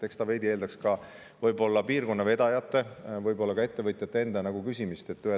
Eks see eeldaks piirkonna vedajate või ettevõtjate enda.